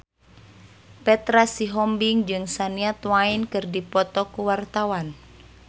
Petra Sihombing jeung Shania Twain keur dipoto ku wartawan